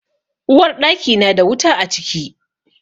Uwarɗaki na da wuta a ciki.